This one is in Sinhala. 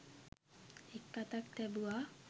එක් අතක් තැබුවා.